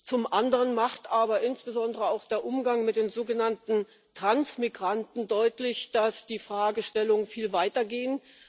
Zum anderen macht aber insbesondere auch der Umgang mit den sogenannten Transmigranten deutlich, dass die Fragestellungen viel weitergehen.